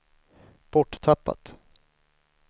borttappat